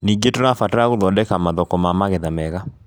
Ningĩ, tũrabatara gũthondeka mathoko ma magetha mega